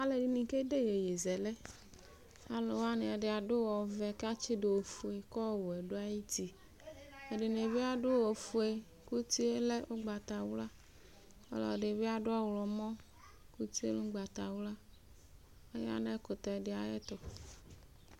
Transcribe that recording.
Alʋ'i kede iyeye zɛlɛ alʋwani ɛdi adʋ ɔvɛ kʋ atsidʋ ofue kʋ ɔwɛ dʋ ayʋ uti ɛdini bi adʋ ofue kʋ uti yɛ lɛ ʋgbatawla ɔlɔdibi adʋ ɔwlɔmɔ kʋ utie lɛ ʋgbatawla kʋ ayanʋ ɛkʊtɛdi ayʋ ɛtʋ